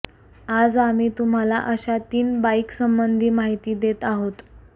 आज आम्ही तुम्हाला अशा तीन बाइकसंबंधी माहिती देत आहोत